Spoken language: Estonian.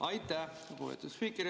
Aitäh, lugupeetud spiiker!